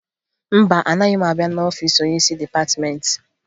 Mba, anaghị m abịa n'ọfiisi onyeisi dịpatịmentị